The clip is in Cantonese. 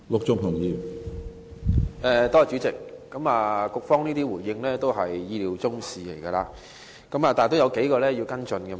主席，局方的回應也是意料之內，但我仍想跟進數點。